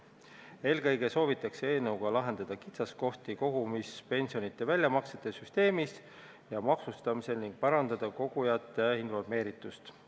Eelkõige soovitakse eelnõuga lahendada kitsaskohti kogumispensionide väljamaksete süsteemis ja maksustamisel ning parandada kogujate informeeritust.